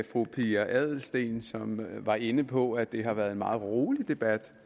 fru pia adelsteen som var inde på at det har været en meget rolig debat